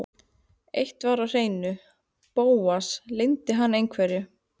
Eitt var á hreinu: Bóas leyndi hann einhverju.